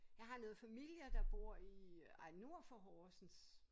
Jeg har noget familier der bor i ej nord for Horsens